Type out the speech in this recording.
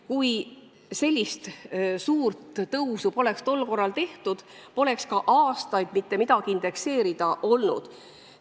Kui sellist suurt tõusu poleks tol korral tehtud, poleks ka aastaid mitte midagi indekseerida olnud.